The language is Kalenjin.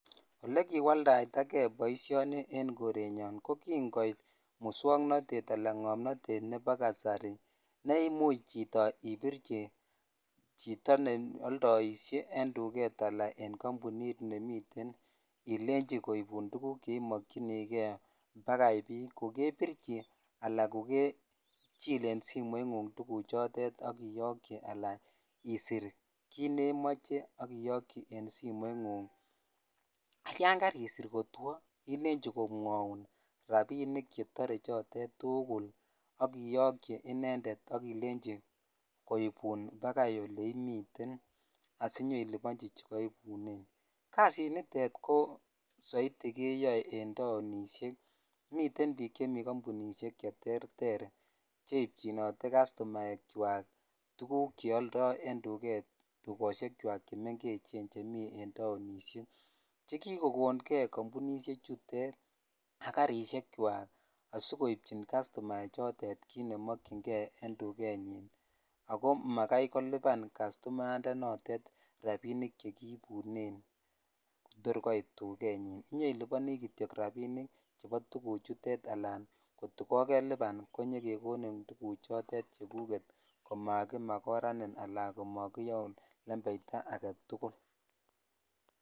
Olekiwaldaitake boisioni en korenyon ko kingoit muswoknatet anan ngomnatet nebo kasari neimuch chito ibirchi chito ne aldoisie en tuget anan en kampunit nemiten ilenchi koibun tuguk che imokyinige pakai bii, kokebirchi anan kokechil en simoingung tuguchotet ak itokyi anan isir kit ne moche ak iyokyi en simoingung. Yan karisir kotwo ilenji komwaun rapinik chetore chotet tugul ak iyokyi inendet ak ilenji koibun pakai oleimiten asinyeilubanchi chekaibunen. Kasit nitet ko saiti keyoe en taonisiek. Miten biik chemi kampunisiek cheterter che ipchinote kastomaekywak tuguk che aldo en tuget, tugosiekwak chemi en taonisiek che kikokonge kampunisiechutet ak karisiekwak asigoipchin kastomaechotet kit ne mokyinge en tugenyin ago magai koluban kastomayandenotet rapinik che kiibunen torgoit tugenyin. Inyailubani kityo rapinik chebotuguchutet anan kokeluban konyekekonin tuguchotet chekuket komakimakoranin anan komakiyaun lembeita agetugul.